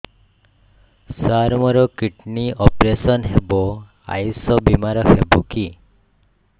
ସାର ମୋର kidney operation ହେବ ଆୟୁଷ ବିମାରେ ହେବ କି